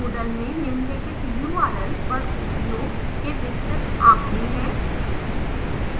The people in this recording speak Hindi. moodle में निम्नलिखित url पर उपयोग के विस्तृत आँकड़े हैं